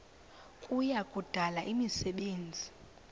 kuya kudala imisebenzi